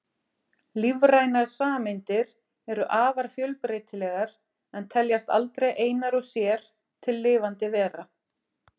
Lífrænar sameindir eru afar fjölbreytilegar en teljast aldrei einar og sér til lifandi vera.